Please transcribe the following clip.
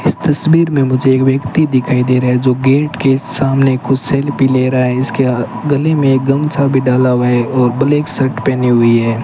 इस तस्वीर में मुझे एक व्यक्ति दिखाई दे रहा है जो गेट के सामने कुछ सेल्फी ले रहा है इसके गले में गमछा भी डाला हुआ है और ब्लैक शर्ट पहनी हुई है।